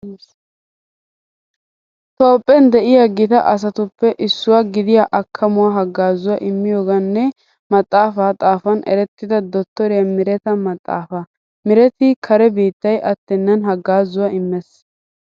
Toophphen de'iya gita asatuppe issuwa gidiya akkamuwa haggaazuwa immiyoogan nne maxaafaa xaafuwan erettida dottoriya Miireta maxaafaa. Miireti kare biittay attennan haggaazuwa immees.